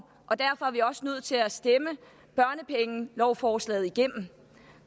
og derfor er vi også nødt til at stemme børnepengelovforslaget igennem